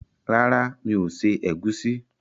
Rárá, mi ò se ẹ̀gúsí.